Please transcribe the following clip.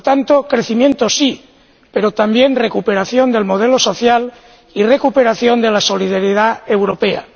Por tanto, crecimiento sí, pero también recuperación del modelo social y recuperación de la solidaridad europea.